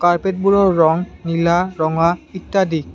কাৰ্পেটবোৰৰ ৰং নীলা ৰঙা ইত্যাদি।